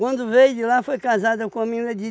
Quando veio de lá foi casado com uma menina